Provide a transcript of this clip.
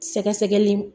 Sɛgɛsɛgɛli